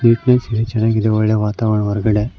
ಇಲ್ಲಿ ಚನಾಗಿದೆ ಒಳ್ಳೆ ವಾತಾವರಣ ಹೊರಗಡೆ--